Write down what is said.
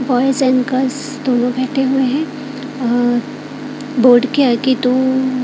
दोनों बैठे हुए हैं अ बोड के आगे दु--